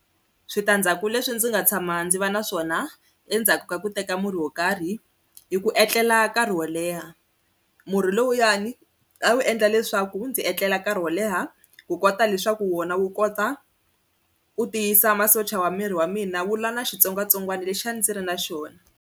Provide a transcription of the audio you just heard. Switandzhaku leswi ndzi nga tshama ndzi va na swona endzhaku ka ku teka murhi wo karhi, i ku etlela nkarhi wo leha murhi lowuyani a wu endla leswaku ndzi etlela nkarhi wo leha ku kota leswaku wona wu kota u tiyisa masocha ya miri wa mina wu lwa na xitsongwatsongwana lexi ndzi ri na xona.